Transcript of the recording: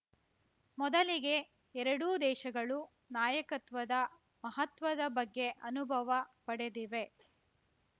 ಮೊದಲಿಗೆ ಎರಡೂ ದೇಶಗಳು ನಾಯಕತ್ವದ ಮಹತ್ವದ ಬಗ್ಗೆ ಅನುಭವ ಪಡೆದಿವೆ